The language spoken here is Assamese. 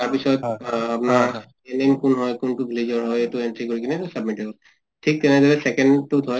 তাৰ পিছত অ আপোনাৰ NM কোন হয় , tu কোনটো village ৰ হয় সেইটো entry কৰি কিনে submit হৈ গল। ঠিক তেনেদৰে second টোত হয় ।